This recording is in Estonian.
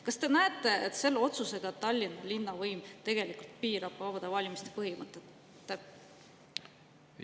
Kas te näete, et selle otsusega Tallinna linnavõim tegelikult piirab vabade valimiste põhimõtte?